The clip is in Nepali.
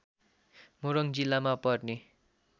मोरङ जिल्लामा पर्ने